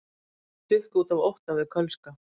Stukku út af ótta við kölska